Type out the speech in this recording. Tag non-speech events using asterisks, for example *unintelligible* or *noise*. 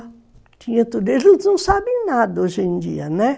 *unintelligible* Eles não sabem nada hoje em dia, né?